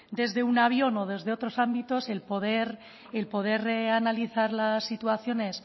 desde un avión o desde otros ámbitos el poder analizar las situaciones